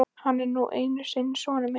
Hann er nú einu sinni sonur minn.